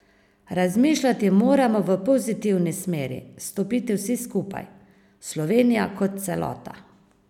Razmišljati moramo v pozitivni smeri, stopiti vsi skupaj, Slovenija kot celota.